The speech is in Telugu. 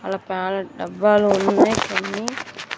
ఆడ డబ్బాలు ఉన్నాయ్ కొన్ని.